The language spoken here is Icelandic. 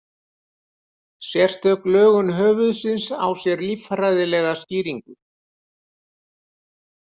Sérstök lögun höfuðsins á sér líffræðilega skýringu.